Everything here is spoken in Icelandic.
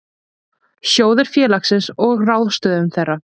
Sjóðir félagsins og ráðstöfun þeirra.